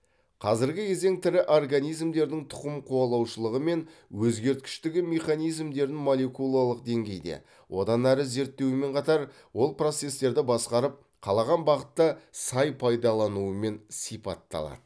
қазіргі кезең тірі организмдердің тұқым қуалаушылығы мен өзгергіштігі механизмдерін молекулалық деңгейде одан ары зерттеумен қатар ол процестерді басқарып қалаған бағытта сай пайдаланумен сипатталады